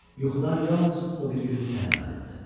Yuxudan yalnız o biri gün səhər ayıldı.